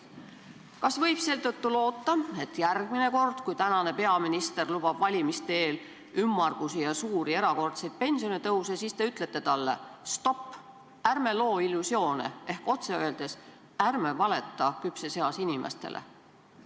Kas võib seetõttu loota, et järgmine kord, kui tänane peaminister lubab valimiste eel ümmargusi ja suuri erakordseid pensionitõuse, te ütlete talle, et stopp, ärme loome illusioone, ehk otse öeldes, ärme valetame küpses eas inimestele?